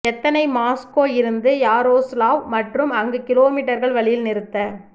எத்தனை மாஸ்கோ இருந்து யாரோஸ்லாவ் மற்றும் அங்கு கிலோமீட்டர்கள் வழியில் நிறுத்த